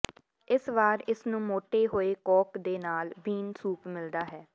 ਇਸ ਵਾਰ ਇਸ ਨੂੰ ਮੋਟੇ ਹੋਏ ਕੌਕ ਦੇ ਨਾਲ ਬੀਨ ਸੂਪ ਮਿਲਦਾ ਹੈ